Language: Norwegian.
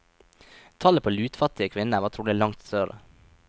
Tallet på lutfattige kvinner var trolig langt større.